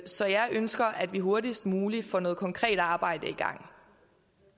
så jeg ønsker at vi hurtigst muligt får noget konkret arbejde i gang